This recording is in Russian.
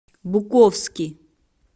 буковски